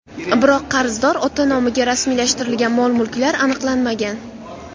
Biroq qarzdor ota nomiga rasmiylashtirilgan mol-mulklar aniqlanmagan.